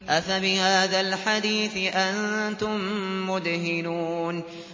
أَفَبِهَٰذَا الْحَدِيثِ أَنتُم مُّدْهِنُونَ